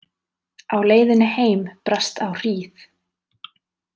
Á leiðinni heim brast á hríð.